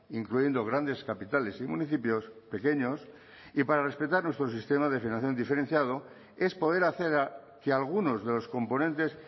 incluyendo grandes capitales y municipios pequeños y para respetar nuestro sistema de financiación diferenciado es poder hacer que algunos de los componentes